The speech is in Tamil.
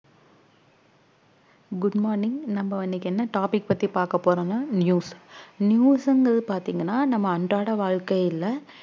good morning நம்ம இன்னைக்கு என்ன topic பத்தி பாக்க போறோம்னா news news ங்கிறது பாத்தீங்கன்னா நம்ம அன்றாட வாழ்க்கையில